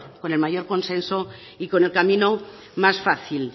con el mayor consenso y con el camino más fácil